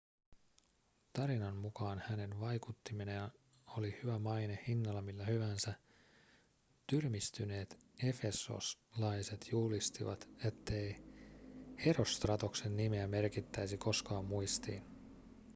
tarinan mukaan hänen vaikuttimenaan oli maine hinnalla millä hyvänsä tyrmistyneet efesoslaiset julistivat ettei herostratoksen nimeä merkittäisi koskaan muistiin